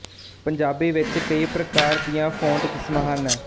ਪੰਜਾਬੀ ਵਿੱਚ ਕਈ ਪ੍ਰਕਾਰ ਦੀਆਂ ਫੌਂਟ ਕਿਸਮਾਂ ਹਨ